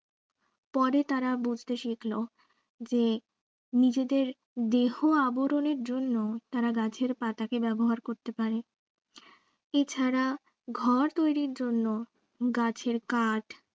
পরে তারা বুঝতে শিখলো যে নিজেদের দেহ আবরণের জন্য তারা গাছের পাতাকে ব্যবহার করতে পারে এ ছাড়া ঘর তৈরির জন্য গাছের কাঠ